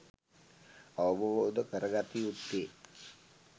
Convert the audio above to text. අවබෝධ කරගත යුත්තේ